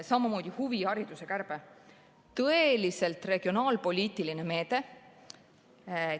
Samamoodi huvihariduse kärbe, tõeliselt regionaalpoliitiline meede.